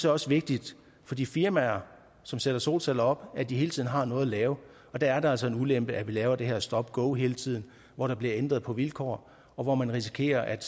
også vigtigt for de firmaer som sætter solceller op at de hele tiden har noget at lave og der er det altså en ulempe at vi laver det her stop go hele tiden hvor der bliver ændret på vilkår og hvor man risikerer at